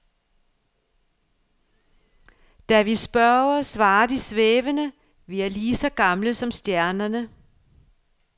Da vi spørger, svarer de svævende, vi er lige så gamle som stjernerne.